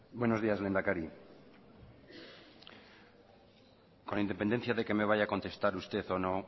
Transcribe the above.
buenos días lehendakari con independencia de que me vaya a contestar usted o no